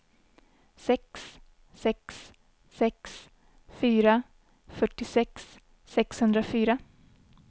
sex sex sex fyra fyrtiosex sexhundrafyra